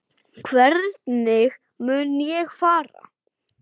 Hvernig mun ég fara?